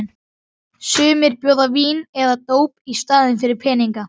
Sumir bjóða vín eða dóp í staðinn fyrir peninga.